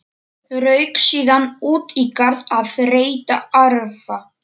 Rauk síðan út í garð að reyta arfa.